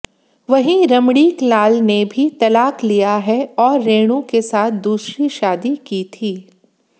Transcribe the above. वहीं रमणीकलाल ने भी तलाक लिया है और रेणु के साथ दूसरी शादी की थी